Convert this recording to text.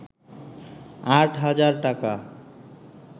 ৮ হাজার টাকা